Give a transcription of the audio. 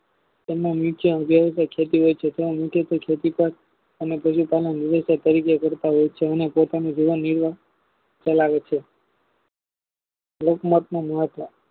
તેમના નીચે જેવાકો ખેતીઓ છે તેમાં મુખ્યત્વે ખેતી પાર અને પરાજિતનું કરતા હોય છે અને પોતાનું જીવન જીવવા કલાવે છે એક માત્ર નિવચાર